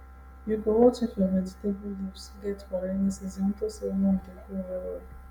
you go watch if your vegetable leaves get for rainy season unto say worm dey grow well well